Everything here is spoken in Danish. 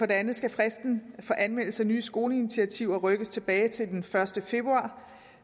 det andet skal fristen for anmeldelse af nye skoleinitiativer rykkes tilbage til den første februar